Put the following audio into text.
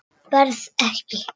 Berð ekki.